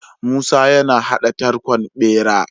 Musa yana hada tarkon bera